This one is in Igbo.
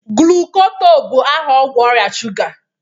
glucotrol bụ aha ọgwụ ọrịa shuga